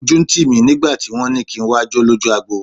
Ojú ń tì mí nígbà tí wọ́n ní kí n wá jó lójú agbo.